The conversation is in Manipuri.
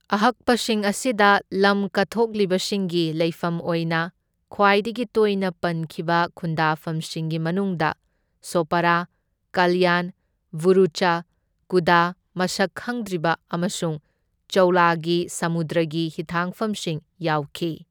ꯑꯍꯛꯄꯁꯤꯡ ꯑꯁꯤꯗ ꯂꯝ ꯀꯠꯊꯣꯛꯂꯤꯕꯁꯤꯡꯒꯤ ꯂꯩꯐꯝ ꯑꯣꯏꯅ ꯈ꯭ꯋꯥꯏꯗꯒꯤ ꯇꯣꯏꯅ ꯄꯟꯈꯤꯕ ꯈꯨꯟꯗꯥꯐꯝꯁꯤꯡꯒꯤ ꯃꯅꯨꯡꯗ ꯁꯣꯄꯥꯔꯥ, ꯀꯜꯌꯥꯟ, ꯚꯥꯔꯨꯆ, ꯀꯨꯗꯥ ꯃꯁꯛ ꯈꯪꯗ꯭ꯔꯤꯕ ꯑꯃꯁꯨꯡ ꯆꯧꯂꯒꯤ ꯁꯃꯨꯗ꯭ꯔꯒꯤ ꯍꯤꯊꯥꯡꯐꯝꯁꯤꯡ ꯌꯥꯎꯈꯤ꯫